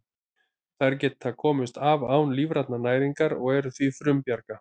Þær geta komist af án lífrænnar næringar og eru því frumbjarga.